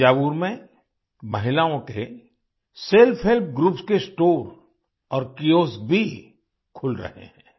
थंजावुर में महिलाओं के सेल्फहेल्प ग्रुप्स के स्टोर और कियोस्क भी खुल रहे हैं